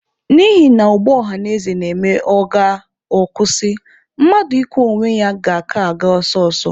N'ihina ụgbọ ọhanaeze na-eme ọ gaa, ọ kwụsị, mmadụ ịkwọ onwe ya ga-aka aga ọsọ ọsọ.